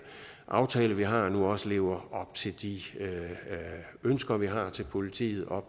aftale vi har nu også lever op til de ønsker vi har til politiet og